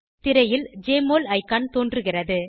திரையில் JMOL icon தோன்றுகிறது